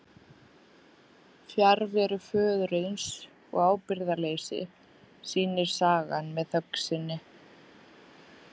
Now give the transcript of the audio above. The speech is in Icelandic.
Fjarveru föðurins og ábyrgðarleysi sýnir sagan með þögn sinni.